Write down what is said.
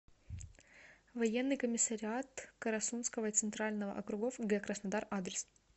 военный комиссариат карасунского и центрального округов г краснодар адрес